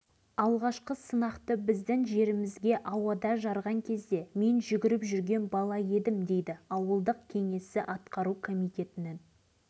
ал енді осы ауылдардағы тіршілік қандай жұрт қалай күн кешуде көкейдегі қайталанған осы сауалдар жергілікті тұрғындармен әңгімелесуге итермеледі